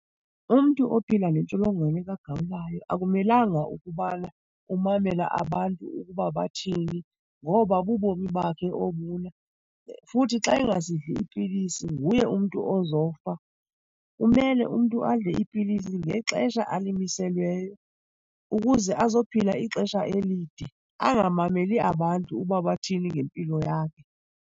Umntu ophila nentsholongwane kagawulayo akumelanga ukubana umamela abantu ukuba bathini ngoba bubomi bakhe obuna, futhi xa engazidli iipilisi nguye umntu ozofa. Kumele umntu adle iipilisi ngexesha alimiselweyo ukuze azophila ixesha elide, angamameli abantu uba bathini ngempilo yakhe.